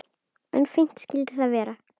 En fínt skyldi það vera!